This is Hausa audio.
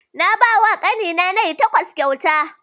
Na bawa ƙani na nai takwas kyauta